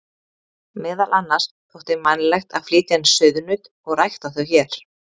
Meðal annars þótti vænlegt að flytja inn sauðnaut og rækta þau hér.